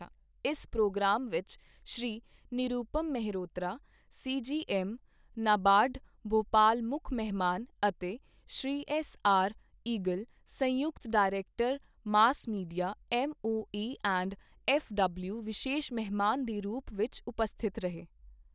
ਇਸ ਪ੍ਰੋਗਰਾਮ ਵਿੱਚ Shri Nirupam Mehrotra, C G M, NABARD Bhopal ਮੁੱਖ ਮਹਿਮਾਨ ਅਤੇ ਸ਼੍ਰੀ ਐੱਸ ਆਰ ਇਗਲ, ਸੰਯੂਕਤ director mass media, M O A and F W ਵਿਸ਼ੇਸ਼ ਮਹਿਮਾਨ ਦੇ ਰੂਪ ਵਿੱਚ ਉਪਸਥਿਤ ਰਹੇ।